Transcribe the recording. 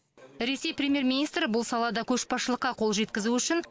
ресей премьер министрі бұл салада көшбасшылыққа қол жеткізу үшін